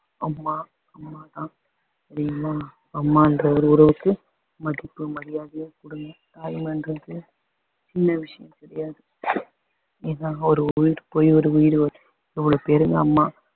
அம்மா அம்மா தான் தெரியுமா அம்மான்ற ஒரு உறவுக்கு மதிப்பும் மரியாதையும் கொடுங்க தாய்மைன்றது சின்ன விஷயம் கிடையாது ஏன்னா ஒரு உயிர் போய் ஒரு உயிர் வரும் அம்மா